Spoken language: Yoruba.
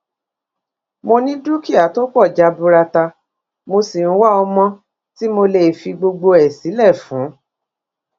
mo ní dúkìá tó pọ jaburata mo sì ń wá ọmọ tí mo lè fi gbogbo ẹ sílẹ fún